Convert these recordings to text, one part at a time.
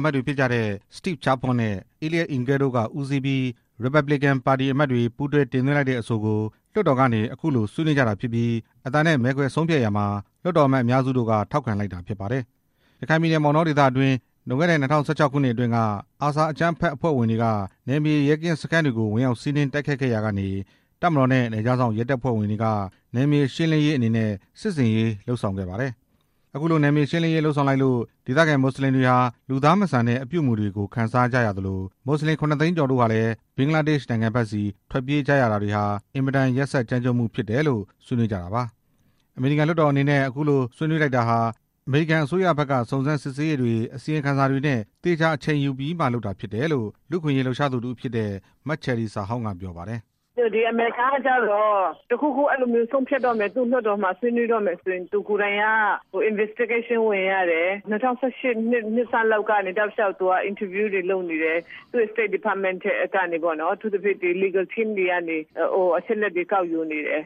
အမတ်တွေဖြစ်ကြတဲ့ Steve Chabot နဲ့ Eliot Engle တို့က ဦးစီး ပြီး ရီပက်ပလင်ကန် ပါတီအမတ်တွေက ပူးတွဲတင်သွင်းလိုက်တဲ့အဆိုကို လွှတ်တော်ကနေ အခုလို ဆွေးနွေးကြတာဖြစ်ပြီး အသံနဲ့ဆုံးဖြတ်ရာမှာ လွှတ်တော်အမတ်အများစုက ထောက်ခံလိုက်တာဖြစ် ပါတယ်။ ရခိုင်ပြည်နယ် မောင်တောဒေသတွင်းမှာ လွန်ခဲ့တဲ့ ၂၀၁၆ ခုနှစ် အတွင်းက အာဆာအကြမ်းဖက်အဖွဲ့ ဝင်တွေက နယ်မြေ ရဲကင်းစခန်းတွေကို ဝင်ရောက်စီးနင်း တိုက်ခိုက်ခဲ့ရာကနေ တပ်မတော်နဲ့ နယ်ခြား စောင့်ရဲတပ်ဖွဲ့ဝင်တွေက နယ်မြေရှင်းလင်းရေးအနေနဲ့ စစ်ဆင်ရေး လုပ်ဆောင်ခဲ့ပါတယ်။ အခုလို နယ်မြေရှင်းလင်းရေးလုပ်လိုက်လို့ ဒေသခံ မွတ်စလင်တွေဟာ လူသားမဆန်တဲ့ အပြုအမူတွေ ကို ခံစားခဲ့ကြရသလို ရိုဟင်ဂျာ ၇ သိန်းကျော်တို့ဟာလည်း ဘင်္ဂလားဒေ့ရှ်နိုင်ငံဘက်ဆီ ထွက်ပြေးကြ ရတာတွေဟာ အင်မတန် ရက်စက်ကြမ်းကြုတ်မှုဖြစ်တယ်လို့ ဆွေးနွေး့ကြတာပါ။ အမေရိကန် လွှတ်တော်အနေနဲ့ အခုလို ဆုံးဖြတ်လိုက်တာဟာ အမေရိကန် အစိုးရဘက်က စုံစမ်းစစ် ဆေးရေးတွေ အစီရင်ခံစာတွေနဲ့ သေချာအချိန်ယူပြီးမှ လုပ်တာဖြစ်တယ်လို့ လူ့အခွင့်အရေးလှုပ်ရှား သူ တစ်ဦးဖြစ်တဲ့ မချယ်ရီဇာဟောင်က ပြောပါတယ်။ "ဒီအမေရိကန်က သူ့လွှတ်တော်မှာ ဆွေးနွေးဆုံးဖြတ်တော့မယ်ဆိုရင် စုံစမ်းစစ်ဆေးတာတွေ ဝင်ရ တယ် ၂၀၁၈ နှစ်ဆန်းလောက်ကတည်းက interview တွေလုပ်နေတယ် သူ့ State Department က အထူးသဖြင့် Legal team တွေကနေ အချက်အလက်တွေ ကောက်ယူနေတယ်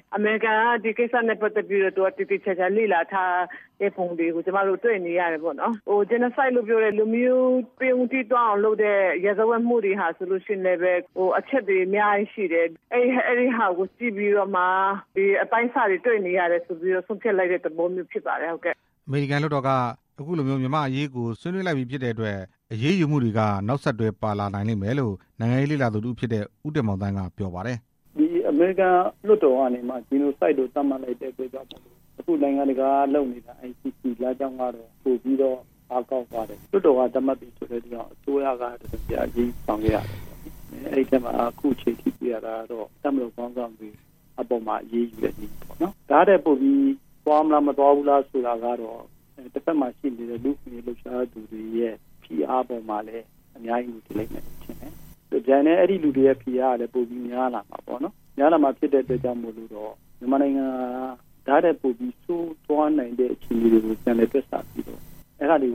ဒီကိစ္စကို သေသေ ချာချာ လေ့လာထားတာတွေ့ရတယ်။ Genocide လို့ လူမျိုးတုံးအောင်လုပ်တဲ့ ရာဇဝတ်မှုတွေက လည်းပဲ အချက်တွေ အများကြီးရှိတယ်။ အဲဒါတွေကြည့်ပြီးတော့မှ အပိုင်းအစတွေ တွေ့နေရတယ်ဆို ပြီးတော့မှ ဆုံးဖြတ်လိုက်တာဖြစ်ပါတယ်" အမေရိကန်လွှတ်တော်က အခုလိုမျိုး မြန်မာဘက်ကို သတ်မှတ်လိုက်ပြီဖြစ်တဲ့အတွက် အရေးယူမှု တွေက နောက်ဆက်တွဲ ပါလာနိုင်လိမ့်မယ်လို့ နိုင်ငံရေးလေ့လာသူတစ်ဦးဖြစ်တဲ့ ဦးတင်မောင်သန်းက ပြောပါတယ်။ "ဒီအမေရိကန် လွှတ်တော်ကနေ Genocide လို့ သတ်မှတ်လိုက်တဲ့အပေါ်မှာ အခုနိုင်ငံတကာက လုပ် နေတာ ICC လမ်းကြောင်းကတော့ ပိုပြီးတော့ အားကောင်းသွားတယ်လို့ ပြောလို့ရမယ်။ လွှတ်တော် က သတ်မှတ်ပြီဆိုတဲ့အတွက်ကြောင့် အစိုးရက အရေးယူဆောင်ရွက်ရတော့မယ်။ ခုချိန်ထိတွေ့ရတာ က တော့ တပ်မတော်ခေါင်းဆောင်တွေအပေါ် အရေးယူတဲ့နည်းပေါ့နော်။ ဒါ့ထက်ပိုပြီး သွားမလား မသွားဘူးလားဆိုတာကတော့ တစ်ဖက်မှာရှိနေတဲ့ လူ့အခွင့်အရေးလှုပ်ရှားသူတွေရဲ့ ဖိအားပေါ်မှာ လည်း အများကြီး မူတည်လိမ့်မယ်လို့ထင်တယ်။ တစ်ပြိုင်တည်း ဖိအားတွေများလာမှာပေါ့နော်။ မြန်မာနိုင်ငံဟာ ဒါထက်ပိုပြီး ဆိုးသွားနိုင်တဲ့အခြေအနေတွေကို တွက်ဆပြီးတော့ အဲဒါတွေ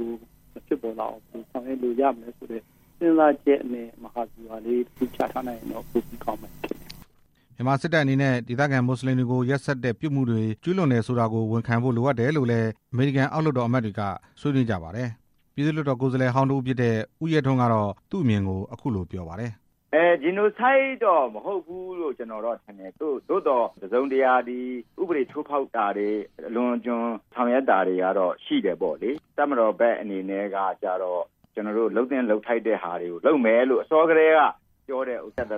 မဖြစ်ပေါ် လာအောင် ဆောင်ရွက်ဖို့ စဉ်းစားချက်နဲ့မဟာဗျူဟာ ချထားရင်ပိုပြီးကောင်းမယ်" မြန်မာစစ်တပ်အနေနဲ့ ဒေသခံ မွတ်စလင်တွေကို ရက်စက်တဲ့ပြစ်မှုတွေ ကျူးလွန်တယ်ဆိုတာကို ဝန်ခံ ဖို့လိုအပ်တယ်လို့လည်း အမေရိကန် အောက်လွှတ်တော်အမတ်တွေက ဆွေးနွေးကြပါတယ်။ ပြည်သူ့လွှတ်တော် ကိုယ်စားလှယ်ဟောင်းတစ်ဦးဖြစ်တဲ့ ဦးရဲထွန်းကတော့ သူ့အမြင်ကို အခုလိုပြောပါ တယ်။ "Genocide တော့မဟုတ်ဘူးလို့ ကျနော်တော့ထင်တယ် သို့သော် တစ်စုံတစ်ရာ ဥပဒေချိုးဖောက် တာ တွေ အလွန်အကျွံ ဆောင်ရွက်တာတွေတော့ ရှိတယ်ပေါ့လေ။ တပ်မတော်ဘက်အနေနဲ့ကျတော့ လုပ် သင့်လုပ်ထိုက်တာတွေကိုလုပ်မယ်လို့ အစောကတည်းက ပြောကတည်းက ကိုယ့်ဖက်က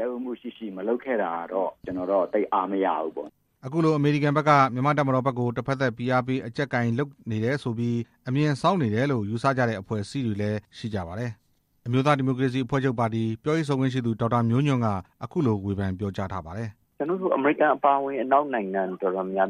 လက်ဦးမှု မရှိတာကိုတော့ ကျနော်တော့ သိပ်အားမရဘူးပေါ့ဗျာ" အခုလို အမေရိကန်ဘက်က မြန်မာ့တပ်မတော်ဘက်ကို တစ်ဖက်သတ် ဖိအားပေးအကြပ်ကိုင်လုပ်နေ တယ်ဆိုပြီး အမြင်စောင်းနေတယ်လို့ ယူဆကြတဲ့ အဖွ့ဲအစည်းတွေလည်းရှိကြပါတယ်။ အမျိုးသားဒီမိုကရေစီအဖွ့ဲချုပ်ပါတီ ပြောရေးဆိုခွင့်ရှိသူ ဒေါက်တာ မျိုးညွန့်က အခုလို ဝေဖန်ပြောကြား ပါထားတယ်။ "အမေရိကန်အပါအဝင် အနောက်နိုင်ငံ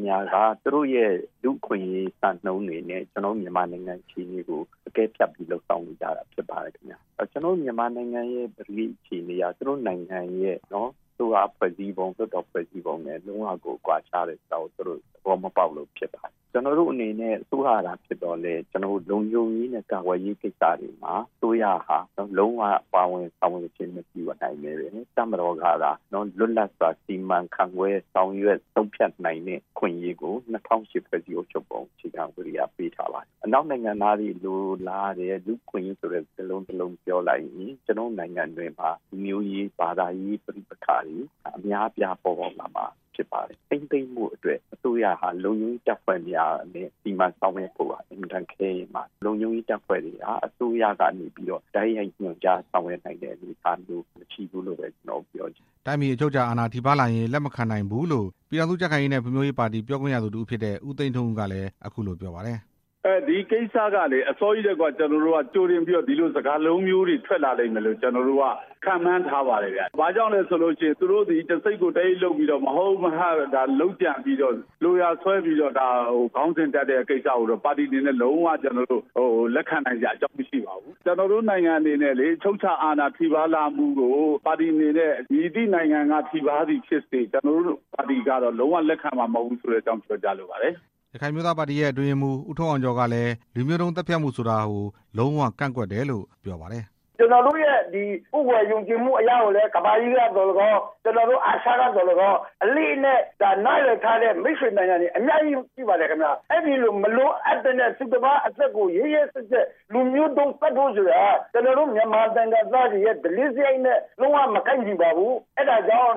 များက သူတို့ရဲ့ လူ့အခွင့်အရေး စံနှုန်းတွေနဲ့ ကျနော်တို့ မြန်မာ နိုင်ငံအခြေအနေကို အကဲဖြတ်ပြီးတော့ လုပ်ဆောင်နေကြတာဖြစ်ပါတယ်။ မြန်မာနိုင်ငံရဲ့ ပကတိ အခြေအနေက သူတို့နိုင်ငံရဲ့ အစိုးရ ဖွဲ့စည်းပုံ လွှတ်တော် ဖွဲ့စည်းပုံ လုံးဝကွာခြားတယ်ဆိုတာ သူတို့ သဘော မပေါက်လို့ဖြစ်ပါလိမ့်မယ်။ ကျနော်တို့အနေနဲ့ အစိုးရသာဖြစ်သော်လည်း လုံခြုံရေးနဲ့ ကာ ကွယ်ရေး ကိစ္စတွေမှာ အစိုးရဟာ လုံးဝပါဝင်ဆောင်ရွက်ခြင်း မပြုရဘဲ တပ်မတော်ကသာ လွတ်လပ် စွာ စီမံခန့်ခွဲ ဆုံးဖြတ်နိုင်တဲ့ အခွင့်အရေးကို ၂၀၀၈ ဖွဲ့စည်းအုပ်ချုပ်ပုံအခြေခံဥပဒေက ပေးထားပါ တယ်။ အနောက် နိုင်ငံသားတွေလိုလားတဲ့ လူ့အခွင့်အရေး စကားတစ်လုံးပြောလိုက်ရင် ကျနော်တို့ နိုင်ငံတွင်းမှာ လူ မျိုးရေး ဘာသာရေးပ ဋိပက္ခတွေ အများအပြား ပေါ်ပေါက်လာမှာဖြစ်ပါတယ်၊ ထိန်း သိမ်းဖို့အတွက် အစိုး ရဟာ လုံခြုံရေးတပ်ဖွဲ့များနဲ့ စီမံဆောင်ရွက်ဖို့ရာ အင်မတန် ခဲယဉ်းပါတယ်၊ လုံခြုံ ရေးတပ်ဖွဲ့တွေဟာ အစိုးရကနေပြီးတော့ တိုက်ရိုက် ညွှန်ကြားဆောင်ရွက်နိုင်တဲ့ အနေအထား မရှိဘူး လို့ဘဲ ပြောချင်ပါတယ်" တိုင်းပြည် အချုပ်အခြာအာဏာ ထိပါးလာရင် လက်မခံနိုင်ဘူးလို့ ပြည်ထောင်စုကြံ့ခိုင်ရေးနဲ့ ဖွံ့ဖြိုးရေး ပါတီ ပြောခွင့်ရသူတစ်ဦးဖြစ်တဲ့ ဦးသိန်းထွန်းဦးကလည်း အခုလိုပြောပါတယ်။ "ဒီကိစ္စကလေ အစောကြီးတည်းက ကျနော်တို့က ကြိုတင်ပြီးတော့ ဒီလိုစကားလုံးမျိုးတွေထွက် လာ လိမ့်မယ်လို့ ခန့်မှန်းထားပါတယ်ဗျ၊ တစ်စိတ်ကို တစ်အိတ်လုပ်ပြီးတော့ လုပ်ကြံပြီးတော့ လိုရာ ဆွဲပြီး တော့ ခေါင်းစဉ်တပ်တဲ့ကိစ္စကို ပါတီအနေနဲ့ လက်ခံစရာအကြောင်းမရှိပါဘူး၊ ကျနော်တို့နိုင်ငံ အနေနဲ့ လေ အချုပ်အခြာအာဏာထိပါးလာမှုကို မည်သည့်နိုင်ငံက ထိပါးလာသည်ဖြစ်စေ ပါတီက လုံးဝ လက်ခံမှာမဟုတ်ပါဘူးဆိုတာ ပြောကြားလိုပါတယ်’’ ရခိုင်အမျိုးသားပါတီရဲ့ အတွင်းရေးမှူး ဦးထွန်းအောင်ကျော်ကလည်း လူမျိုးတုံး သတ်ဖြတ်မှုဆိုတာကို လုံးဝကန့်ကွက်တယ်လို့ ပြောပါတယ်။ "ကျနော်တို့ရဲ့ ကိုးကွယ်ယုံကြည်မှုကို ကမ္ဘာကြီးကသော်လည်းကောင်း အာရှကသော်လည်းကောင်း နားလည်ထားတဲ့ မိတ်ဆွေ နိုင်ငံတွေ အများကြီးရှိပါတယ်။ မလိုအပ်ဘဲနဲ့ သူတစ်ပါးအသက်ကို ရက် ရက်စက်စက် လူမျိုးုတုံးသတ်ဖို့ဆိုတာ မြန်မာနိုင်ငံသားတွေရဲ့ ဓလေ့စရိုက်နဲ့ လုံးဝမကိုက်ညီပါဘူး၊ အဲဒါကြောင့်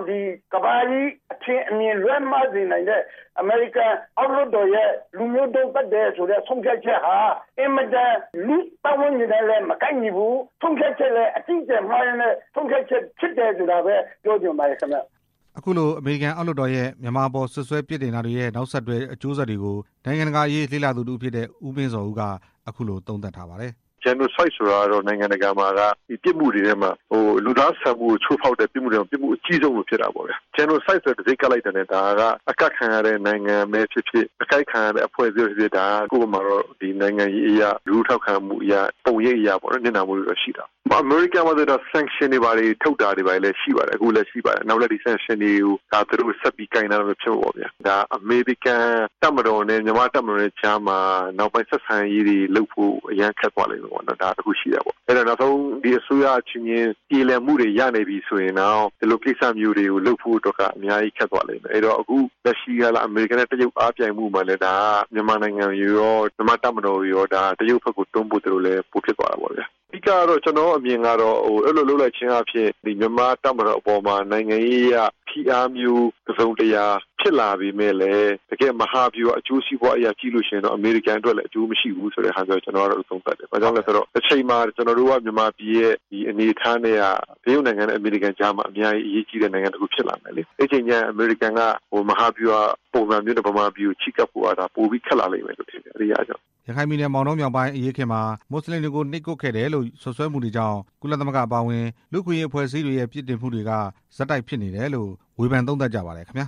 ကမ္ဘာကြီး အထင်အမြင်လွဲမှားစေနိုင်တဲ့ အမေရိကန်အောက်လွှတ်တော်ရဲ့ လူမျိုးတုံး သတ်တယ်ဆိုတဲ့ ဆုံးဖြတ်ချက်ဟာ အင်မတန် လူ့ပတ်ဝန်းကျင်နဲ့လည်း မကိုက်ညီဘူး၊ အကြီးအကျယ် ဆုံးဖြတ်ချက်လို့ မြင်ပါတယ်ခင်ဗျ" အခုလို အမေရိကန် အောက်လွှတ်တော်ရဲ့ မြန်မာအပေါ် စွပ်စွဲပြစ်တာတာတွေရဲ့ နောက်ဆက်တွဲကျိုး ဆက်တွေကို နိုင်ငံတကာ အရေးလေ့လာသူတစ်ဦးဖြစ်တဲ့ ဦးမင်းဇော်ဦးက အခုလို သုံးသပ်ပါတယ်။ "Genocide ဆိုတာက နိုင်ငံတကာမှာ ပြစ်မှုတွေထဲမှာ လူသားဆန်မှုကို ချိုးဖောက်တဲ့ အကြီးဆုံးပြစ်မှု ဖြစ်တာပေါ့ဗျာ Genocide ဆိုတဲ့ တံဆိပ်ကပ်လိုက်တယ်ဆိုတာနဲ့ အကပ်ခံရတဲ့ နိုင်ငံပဲဖြစ်ဖြစ် အဖွဲ့ အစည်းပဲဖြစ်ဖြစ် ကိုယ့်ဘက်မှာကတော့ နိုင်ငံရေးအရ၊ လူထုထောက်ခံမှုအရ၊ ပုံရိပ်အရ ထိခိုက်တာ ပေါ့နော်။ အမေရိကန်မှာ ဆန်ရှင်တွေဘာတွေ ထုတ်တာရှိပါတယ်။ နောက်လည်း သူတို့ကိုင်လာမှာ ဖြစ် တာပေါ့ဗျာ။ အမေရိကန် တပ်မတော်နဲ့ မြန်မာ့တပ်မတော်နဲ့ကြားမှာ နောက်ပိုင်းဆက်ဆံရေးတွေ လုပ်ဖို့ အရမ်းခက်သွားလိမ့်မယ်။ နောက်ဆုံး အစိုးရအချင်းချင်း ပြေလည်မှုတွေ ရနေပြီဆိုရင်တောင် ဒီလို ကိစ္စ မျိုးတွေလုပ်ဖို့က အများကြီးခက်သွားမယ်။ အခုလက်ရှိ အမေရိကန်နဲ့ တရုတ် အားပြိုင်မှု မှာလည်း မြန်မာနိုင်ငံရော မြန်မာ့တပ်မတော်ရော တရုတ်ဘက်ကို တွန်းပို့သလိုမျိုး ပိုဖြစ်သွားတာ ပေါ့ဗျာ ကျနော့်အမြင်ကတော့ အဲလိုလုပ်လိုက်ခြင်းအားဖြင့် မြန်မာ့တပ်မတော်အပေါ် နိုင်ငံရေးအရ ဖိအားမျိုး တစ်စုံတစ်ရာ ဖြစ်လာပေမယ့်လည်း တကယ့် မဟာဗျူဟာ အကျိုးစီးပွားအရ ကြည့်ရင် လည်း အမေရိကန်အတွက် အကျိုးမရှိဘူးလို့ သုံးသပ်တယ်။ တစ်ချိန်မှာ ကျနော်တို့က မြန်မာပြည် ရဲ့အနေအထားနဲ့က တရုတ်နဲ့ အမေရိကန်ကြား အများကြီး အရေးကြီးတဲ့ အနေအထားဖြစ်လာ မယ်လေ အဲ့ဒီအချိန်ကျရင် အမေရိကန်က မဟာဗျူဟာပုံစံမျိုးနဲ့ မြန်မာပြည်ကို ချဉ်းကပ်ဖို့က ပိုပြီးခက် လာလိမ့်မယ်လို့ ထင်တယ်" ရခိုင်ပြည်နယ် မောင်တောမြောက်ပိုင်း အရေးအခင်းမှာ မွတ်စလင်တွေကို နှိပ်ကွပ်ခဲ့တယ်လို့ စွပ်စွဲမှု တွေကြောင့် ကုလသမဂ္ဂအပါအဝင် လူ့အခွင့်အရေးအဖွဲ့အစည်းတွေရဲ့ ပြစ်တင်မှုတွေက ဆက်တိုက် ဖြစ်နေတယ်လို့ ဝေဖန်သုံးသပ်ကြပါတယ်ခင်ဗျာ။